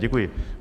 Děkuji.